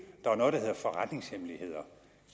der er noget der hedder forretningshemmeligheder